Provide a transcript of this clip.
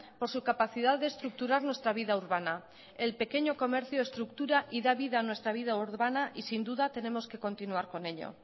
por su capacidad de estructurar nuestra vida urbana el pequeño comercio estructura y da vida a nuestra vida urbana y sin duda tenemos que continuar con ello